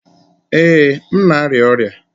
Ee, m na-arịa ọrịa